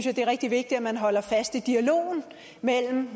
er det rigtig vigtigt at man holder fast i dialogen mellem